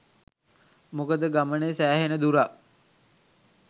මොකද ගමනේ සෑහෙන දුරක්